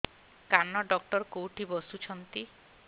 କାନ ଡକ୍ଟର କୋଉଠି ବସୁଛନ୍ତି